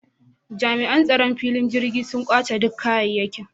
Jami’an tsaron filin jirgin sun kwace dukkan kayekin